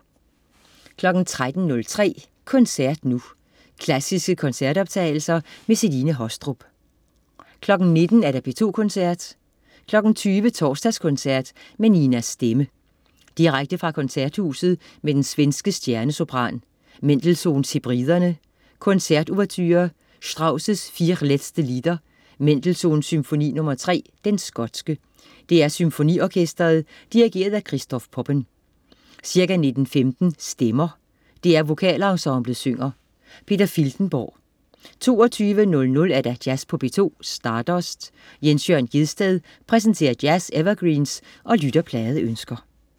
13.03 Koncert nu. Klassiske koncertoptagelser. Celine Haastrup 19.00 P2 Koncerten. 20.00 Torsdagskoncert med Nina Stemme. Direkte fra Koncerthuset med den svenske stjernesopran. Mendelssohn: Hebriderne. Koncertouverture. Strauss: Vier Letzte Lieder. Mendelssohn: Symfoni nr. 3, Den Skotske. DR SymfoniOrkestret. Dirigent: Christoph Poppen. Ca. 19.15 Stemmer. DR VokalEnsemblet synger. Peter Filtenborg 22.00 Jazz på P2. Stardust. Jens Jørn Gjedsted præsenterer jazz-evergreens og lytterpladeønsker